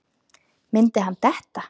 Myndi hann detta?